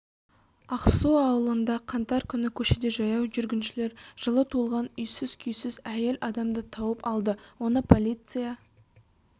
ақсу ауылында қаңтар күні көшеде жаяу жүргіншілер жылы туылған үйсіз-күйсіз әйел адамды тауып алды оны полиция